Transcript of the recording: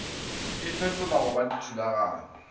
e fetolwa go ba dithulaganyo